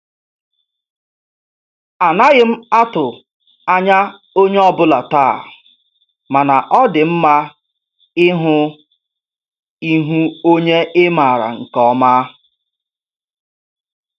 Anaghị m atụ ányá onyé ọ bụla taa, mana ọ dị mma ịhụ ihu onye ị maara nke ọma.